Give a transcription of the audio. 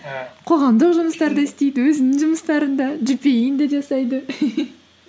і қоғамдық жұмыстар да істейді өзінің жұмыстарын да джипиэй ін де жасайды